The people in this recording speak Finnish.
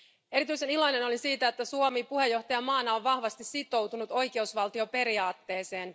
Erityisen iloinen olen siitä, että Suomi puheenjohtajamaana on vahvasti sitoutunut oikeusvaltioperiaatteeseen.